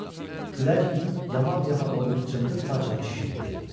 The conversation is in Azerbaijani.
Külək yamaq-yamaq olmuş cındır parçanı şişirtdi.